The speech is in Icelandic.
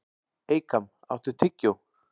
Eykam, áttu tyggjó?